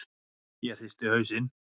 Ég hristi hausinn.